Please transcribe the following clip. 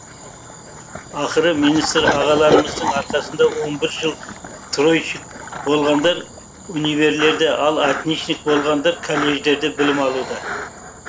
ақыры министр ағаларымыздың арқасында он бір жыл тройшник болғандар универлерде ал отличник болғандар колледждерде білім алуда